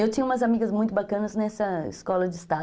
Eu tinha umas amigas muito bacanas nessa escola de estado.